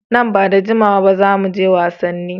Nan ba da jimawa ba za mu je wasanni.